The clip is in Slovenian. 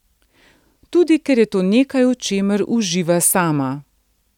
Tudi ker je to nekaj, v čemer uživa sama.